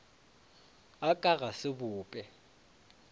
a ka ga se bope